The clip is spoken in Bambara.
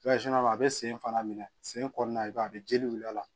a bɛ sen fana minɛ sen kɔnɔna i b'a ye a bɛ jeli wuli a la